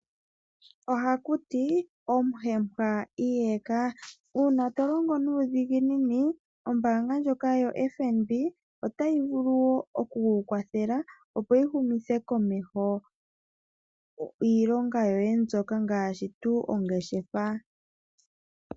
Oha ku tiwa: omuhempa iyeka. Uuna tolongo nuudhiginini, ombaanga ndjoka yo-FNB ota yi vulu oku kukwathela oku humitha komeho iilonga yoye ngaashi ongeshefa.